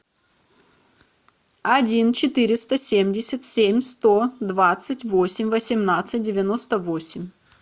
один четыреста семьдесят семь сто двадцать восемь восемнадцать девяносто восемь